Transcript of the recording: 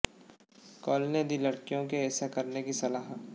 कोल ने दी लड़कियों को ऐसा करने की सलाह